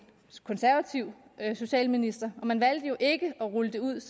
konservativ socialminister og man valgte jo ikke at rulle det ud